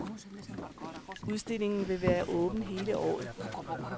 Udstillingen vil være åben hele året.